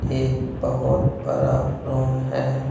एक बहुत बरा रूम है।